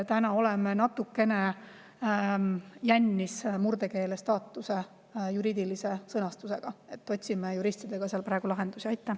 Oleme natukene jännis murdekeele staatuse juriidilise sõnastusega, otsime juristidega praegu lahendust.